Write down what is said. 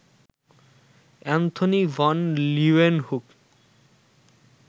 Anthony van Leeuwenhoek